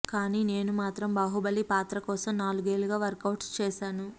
కానీ నేను మాత్రం బాహుబలి పాత్ర కోసం నాలుగేళ్లు వర్కవుట్స్ చేశాను